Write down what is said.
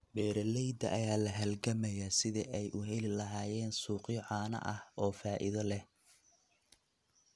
Beeralayda ayaa la halgamaya sidii ay u heli lahaayeen suuqyo caano oo faa'iido leh.